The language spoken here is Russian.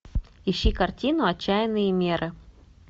ищи картину отчаянные меры